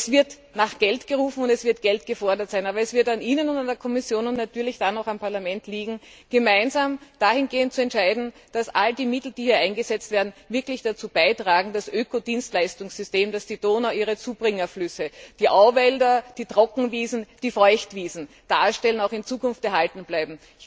Es wird nach Geld gerufen, es wird Geld gefordert sein. Aber es wird an Ihnen und an der Kommission, und natürlich dann auch am Parlament liegen, gemeinsam dahingehend zu entscheiden, dass all die Mittel, die hier eingesetzt werden, wirklich dazu beitragen, dass das Ökodienstleistungssystem, das die Donau ihre Zubringerflüsse, die Auwälder, die Trockenwiesen, die Feuchtwiesen darstellt, auch in Zukunft erhalten bleibt.